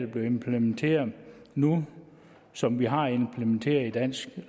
bliver implementeret nu og som vi har implementeret i dansk